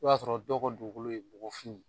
O y'a sɔrɔ dɔw ka dugukolo ye bɔgɔfin.